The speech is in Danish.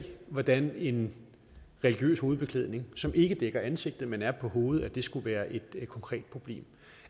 hvordan en religiøs hovedbeklædning som ikke dækker ansigtet men er på hovedet skulle være et konkret problem